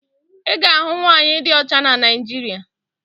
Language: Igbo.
Ị ga-ahụ nwaanyị di ọcha na Naịjirịa